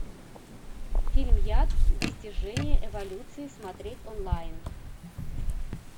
фильм яд достижение эволюции смотреть онлайн